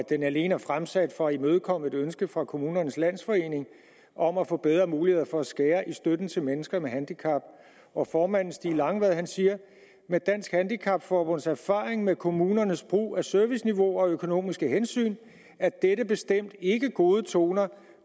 det alene er fremsat for at imødekomme et ønske fra kommunernes landsforening om at få bedre muligheder for at skære i støtten til mennesker med handicap formanden stig langvad siger med dansk handicap forbunds erfaring med kommunernes brug af serviceniveauer og økonomiske hensyn er dette bestemt ikke gode toner